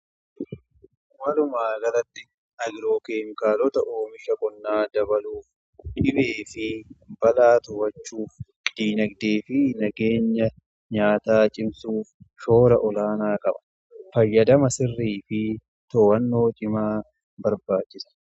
Walumaagalatti agiroo keemikaalota oomisha qonnaa dabaluu fi dhibee fi balaa to'achuuf diinagdee fi nageenya nyaataa cimsuuf shoora olaanaa qaba. fayyadama sirrii fi to'annoo cimaa barbaachisa.